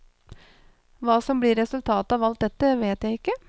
Hva som blir resultatet av alt dette, vet jeg ikke.